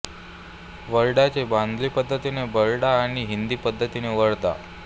वड्राचे बंगाली पद्धतीने बड्रा आणि हिंदी पद्धतीने वद्रा